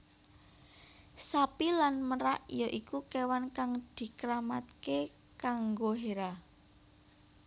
Sapi lan merak ya iku kewan kang dikeramatake kanggo Hera